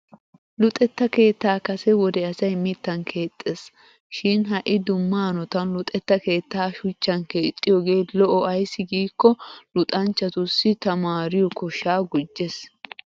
Luxetta keettaa Kase wode asay mittan keexxes. Shin ha'i dumma hanotan luxetta keettaa shuchchan keexxiyoogee lo'o ayssi giikko luxanchchatussi tamaariyo koshshaa gujjes.